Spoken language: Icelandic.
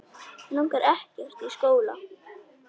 Mig langar ekkert í skóla.